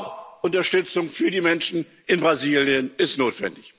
Auch Unterstützung für die Menschen in Brasilien ist notwendig.